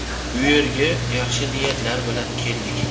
Bu yerga yaxshi niyatlar bilan keldik.